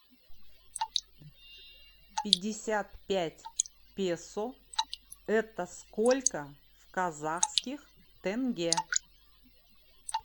пятьдесят пять песо это сколько в казахских тенге